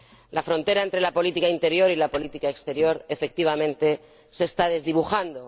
La frontera entre la política interior y la política exterior, efectivamente, se está desdibujando.